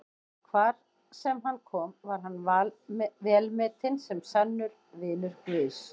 Hvar sem hann kom var hann velmetinn sem sannur vinur Guðs.